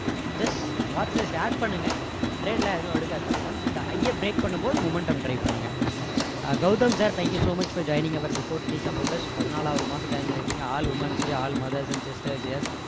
just watch list add பண்ணுங்க trade லாம் எதுவும் எடுக்காதீங்க once இந்த high ய break பண்ணும்போது momentum try பண்ணுங்க Gautham sir thank you so much for joining our before TT supporters பதினாலாவது மாதம் join பண்ணிருக்கீங்க all womens day all mothers and sisters